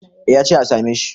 eh ya ce a same shi